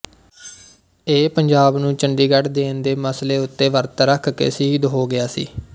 ਇਹ ਪੰਜਾਬ ਨੂੰ ਚੰਡੀਗੜ੍ਹ ਦੇਣ ਦੇ ਮਸਲੇ ਉੱਤੇ ਵਰਤ ਰੱਖ ਕੇ ਸ਼ਹੀਦ ਹੋ ਗਿਆ ਸੀ